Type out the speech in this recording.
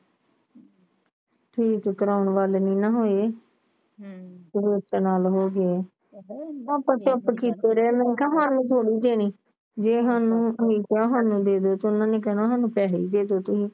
ਠੀਕ ਕਰਵਾਉਣ ਵਾਲੀ ਨਾ ਹਾਨੇ ਵੇਚਣ ਨਾਲ ਹੋਗੇ ਆਪਾ ਚੁੱਪ ਕਿਤੇ ਰਹੇ ਕਹਿਣੀ ਥੋੜੀ ਦੇਣੀ ਜੇ ਹੁਣ ਨੂੰ ਕਹਿਤਾ ਹੁਣ ਨੂੰ ਦੇਦੇ ਤੇ ਉਹਨਾਂ ਨੇ ਕਹਿਣਾ ਕੇ ਸਾਨੂੰ ਪੈਸੇ ਦੇਦੂ